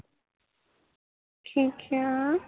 ਕੀ ਖਿਆ